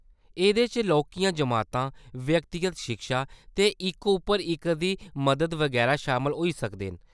एह्‌‌‌दे च लौह्‌‌‌कियां जमातां, व्यक्तिगत शिक्षा ते इक-उप्पर-इक दी मदद बगैरा शामल होई सकदे न।